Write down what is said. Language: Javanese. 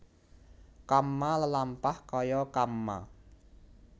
Kamma lelampah kaya kamma